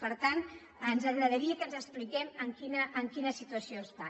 per tant ens agradaria que ens expliqués en quina situació està